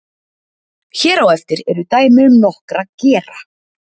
Hér á eftir eru dæmi um nokkra gera.